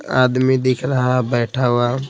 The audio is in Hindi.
आदमी दिख रहा है बैठा हुआ--